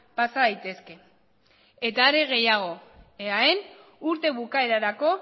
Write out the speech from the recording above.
pasa daitezke are gehiago eaen urte bukaerarako